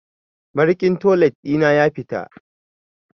Mariƙin toilet ɗi na ya fita.